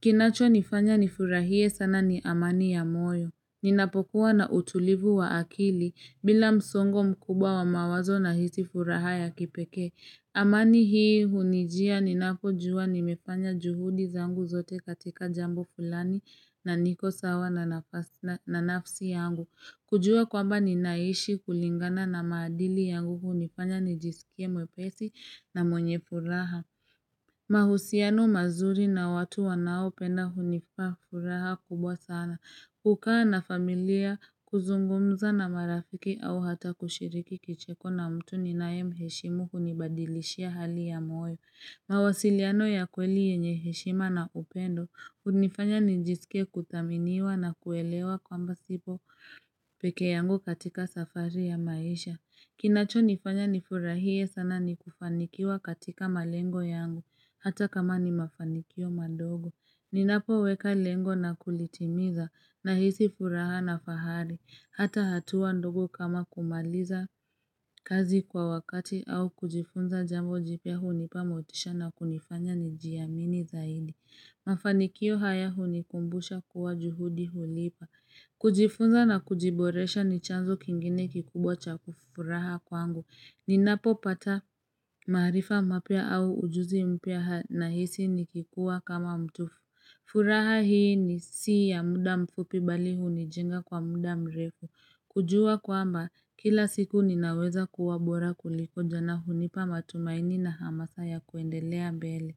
Kinachonifanya nifurahie sana ni amani ya moyo Ninapokuwa na utulivu wa akili bila msongo mkubwa wa mawazo nahisi furaha ya kipekee amani hii hunijia ninapojua nimefanya juhudi zangu zote katika jambo fulani na niko sawa na nafsi yangu kujua kwamba ninaishi kulingana na maadili yangu hunifanya nijisikie mwepesi na mwenye furaha mahusiano mazuri na watu wanaopenda hunipea furaha kubwa sana kukaa na familia kuzungumza na marafiki au hata kushiriki kicheko na mtu ninayemheshimu hunibadilishia hali ya moyo mawasiliano ya kweli yenye heshima na upendo hunifanya nijisikie kuthaminiwa na kuelewa kwamba sipo peke yangu katika safari ya maisha Kinachonifanya nifurahie sana ni kufanikiwa katika malengo yangu, hata kama ni mafanikio madogo. Ninapoweka lengo na kulitimiza nahisi furaha na fahari, hata hatua ndogo kama kumaliza kazi kwa wakati au kujifunza jambo jipya hunip amotisha na kunifanya nijiamini zaidi. Mafanikio haya hunikumbusha kuwa juhudi hulipa. Kujifunza na kujiboresha ni chanzo kingine kikubwa cha furaha kwangu. Ninapo pata maarifa mapya au ujuzi mpya nahisi nikikuwa kama mtu. Furaha hii si ya muda mfupi bali hunijinga kwa muda mrefu. Kujua kwamba kila siku ninaweza kuwa bora kuliko jana hunipa matumaini na hamasa ya kuendelea mbele.